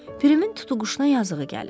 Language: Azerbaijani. Pirimin tutuquşuna yazığı gəlir.